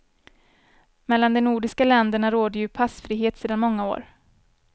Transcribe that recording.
Mellan de nordiska länderna råder ju passfrihet sedan många år.